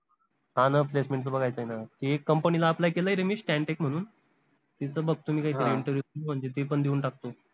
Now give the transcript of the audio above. हान placement च बघायचंय ना ती एक company ला apply केलाय रे मी stan tech म्हनून तिथं बघतो ते पन देऊन टाकतो